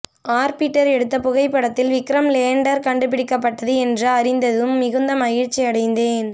orbiter எடுத்த புகைப்படத்தில் Vikram lander கண்டுபிடிக்கப்பட்டது என்று அறிந்தததும் மிகுந்த மகிழ்ச்சி அடைந்தேன்